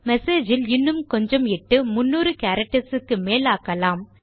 message இல் இன்னும் கொஞ்சம் இட்டு 300 கேரக்டர்ஸ் க்கு மேல் ஆக்கலாம்